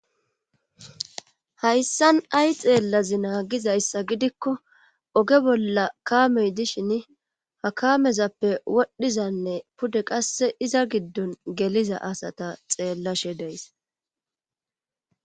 Hayssan ay xeellazi naagizayssa gidikko oge bolla kaamey dishin ha kamezappe wodhdhizanne pude qasse iza giddon geliza asata xeellashe deys